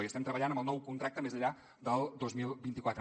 i estem treballant amb el nou contracte més enllà del dos mil vint quatre